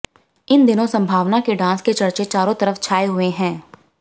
इन दिनों सम्भावना के डांस के चर्चे चारों तरफ छाए हुए हैं